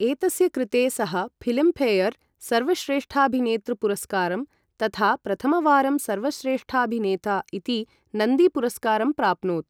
एतस्य कृते सः फ़िल्मफ़ेयर् सर्वश्रेष्ठाभिनेतृ पुरस्कारं तथा प्रथमवारं सर्वश्रेष्ठाभिनेता इति नन्दी पुरस्कारं प्राप्नोत्।